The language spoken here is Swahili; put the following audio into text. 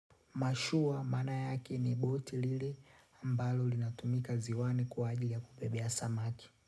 Mashua maana yake ni boti lile ambalo linatumika ziwani kwa ajili ya kubebea samaki.